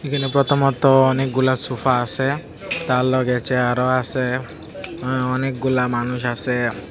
এইখানে প্রথমত অনেকগুলা সোফা আসে তার লগে চেয়ারও আসে অ অনেকগুলা মানুষ আসে।